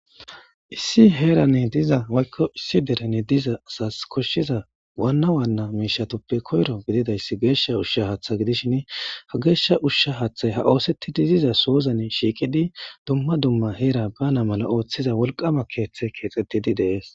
Issi heran diza woyko issi deren diza asas koshiza Wana Wana mishatuppe koyro gididaysi gesha Hatha Usha gidishini gesja Hatha ushay ha oosetidi diza sozani shiiqi duma duma Hera bana mala othiza wolqama keethey keexetidi de'es.